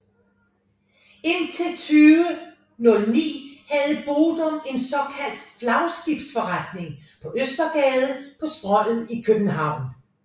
Indtil 2009 havde Bodum en såkaldt flagskibsforretning på Østergade på Strøget i København